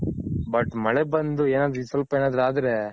but ಮಳೆ ಬಂದು ಏನಾದ್ರು ಸ್ವಲ್ಪ ಏನಾದ್ರು ಆದ್ರೆ.